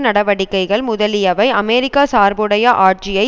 நடவடிக்கைகள் முதலியவை அமெரிக்க சார்புடைய ஆட்சியை